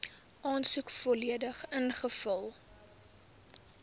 aansoek volledig ingevul